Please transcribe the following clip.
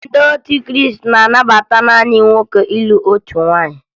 Ndị otu Krịịsị na-anabata naanị nwoke ịlụ otu nwaanyị